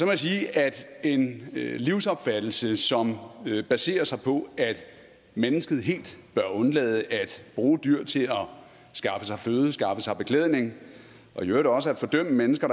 jeg sige at en livsopfattelse som baserer sig på at mennesket helt bør undlade at bruge dyr til at skaffe sig føde skaffe sig beklædning og i øvrigt også at fordømme mennesker